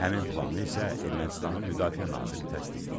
Həmin planı isə Ermənistanın Müdafiə naziri təsdiqləyib.